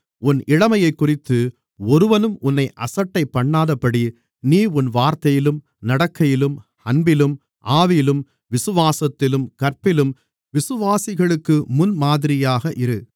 உன் இளமையைக்குறித்து ஒருவனும் உன்னை அசட்டைபண்ணாதபடி நீ உன் வார்த்தையிலும் நடக்கையிலும் அன்பிலும் ஆவியிலும் விசுவாசத்திலும் கற்பிலும் விசுவாசிகளுக்கு முன்மாதிரியாக இரு